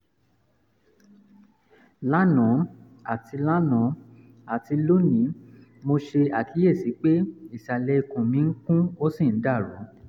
lánàá àti lánàá àti lónìí mo ṣe àkíyèsí pé ìsàlẹ̀ ikùn mi ń kùn ó sì ń dàrú